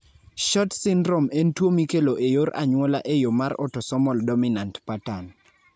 SHORT syndrome en tuwo mikelo e yor anyuola e yo mar autosomal dominant pattern.